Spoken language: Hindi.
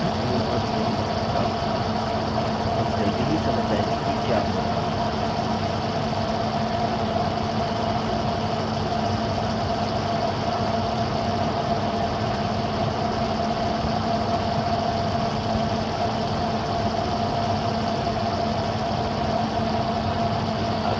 हालांकि यह अभी पूर्ण अर्थ नहीं बना सकता हम जल्दी ही समझ जायेंगे कि क्या हो रहा है